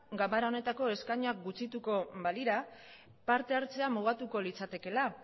ganbara honetako eskainoak gutxituko balira partehartzea mugatuko litzakeela